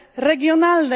regionalne.